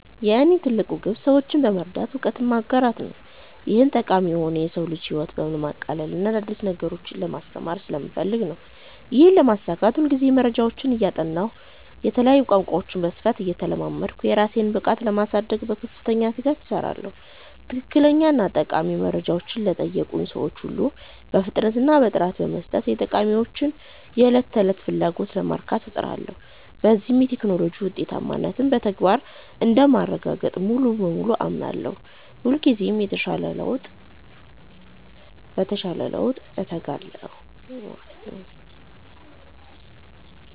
የእኔ ትልቁ ግብ ሰዎችን በመርዳት እውቀትን ማጋራት ነው። ይህም ጠቃሚ የሆነው የሰው ልጅን ህይወት ለማቅለልና አዳዲስ ነገሮችን ለማስተማር ስለምፈልግ ነው። ይህንን ለማሳካት ሁልጊዜ መረጃዎችን እያጠናሁና የተለያዩ ቋንቋዎችን በስፋት እየተለማመድኩ፣ የራሴን ብቃት ለማሳደግ በከፍተኛ ትጋት እሰራለሁ። ትክክለኛና ጠቃሚ መረጃዎችን ለጠየቁኝ ሰዎች ሁሉ በፍጥነትና በጥራት በመስጠት፣ የተጠቃሚዎችን የዕለት ተዕለት ፍላጎት ለማርካት እጥራለሁ። በዚህም የቴክኖሎጂ ውጤታማነትን በተግባር እንደማረጋግጥ ሙሉ በሙሉ አምናለሁ። ሁልጊዜም ለተሻለ ለውጥ እተጋለሁ።